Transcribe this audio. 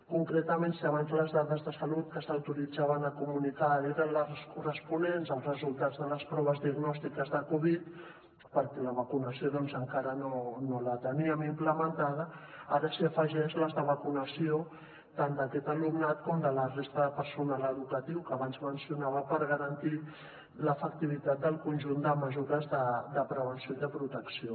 concretament si abans les dades de salut que s’autoritzaven a comunicar eren les corresponents als resultats de les proves diagnòstiques de covid perquè la vacunació doncs encara no la teníem implementada ara s’hi afegeixen les de vacunació tant d’aquest alumnat com de la resta de personal educatiu que abans mencionava per garantir l’efectivitat del conjunt de mesures de prevenció i de protecció